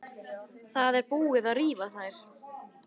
Það er búið að rífa þær.